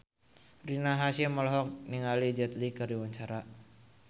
Rina Hasyim olohok ningali Jet Li keur diwawancara